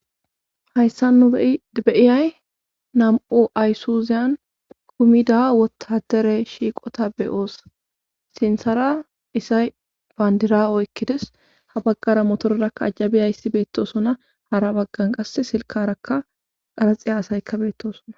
hayssa nu beyiyay nam7u aysuziyan kumida wotadere shiiqota beyoos sinsara isay bandira oykkides ha baggara motororakka ajjabiyayssi beettosona hara baggan qas silkarakka qaraxiya asayka beettosona